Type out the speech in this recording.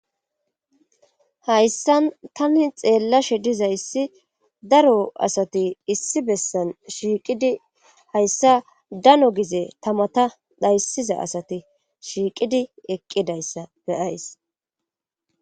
hayssan tani xeellashe dizayssi daro asati issi bessan shiiqidi hayssa dano gize tamata dhayssiza asati shiiqidi eqqidayssa beyays